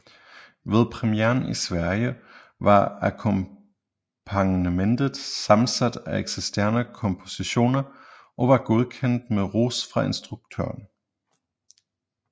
Ved premieren i Sverige var akkompagnementet sammensat af eksisterende kompositioner og var godkendt med ros fra instruktøren